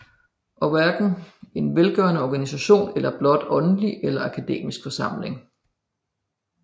Og hverken en velgørende organisation eller blot en åndelig eller akademisk forsamling